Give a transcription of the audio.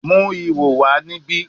Mu iho wa nibi